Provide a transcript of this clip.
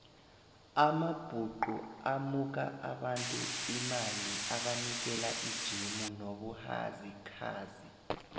amabhuxu amuka abantu imali abanikela ijemu nobuhazikhazi